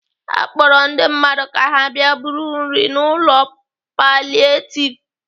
Akpọrọ ndị mmadụ ka ha bịa buru nri n'ụlọ palietiv